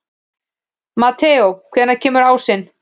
Mateó, hvenær kemur ásinn?